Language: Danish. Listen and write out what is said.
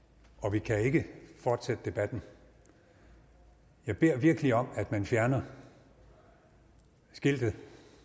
vi kan ikke fortsætte debatten jeg beder virkelig om at man fjerner skiltet